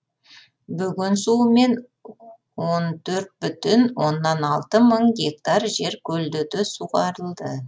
бөген суымен он төрт бүтін оннан алты мың гектар жер көлдете суғарылды